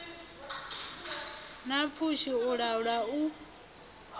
na pfushi u laula u